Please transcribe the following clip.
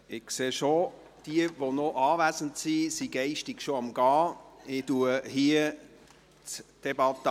Ich sehe, dass die noch Anwesenden geistig schon am Weggehen sind.